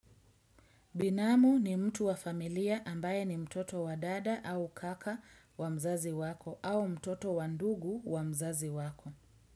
Binamu ni mtu wa familia ambaye ni mtoto wa dada au kaka wa mzazi wako au mtoto wa ndugu wa mzazi wako.